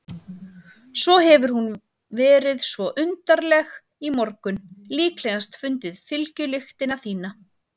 Svo hefur hún verið svo undarleg í morgun, líklegast fundið fylgjulyktina þína.